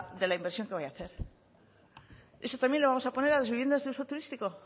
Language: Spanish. de la inversión que vaya a hacer eso también lo vamos a poner a las viviendas de uso turístico